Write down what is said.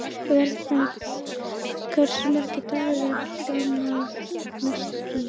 Vernharð, hversu margir dagar fram að næsta fríi?